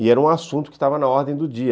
E era um assunto que estava na ordem do dia.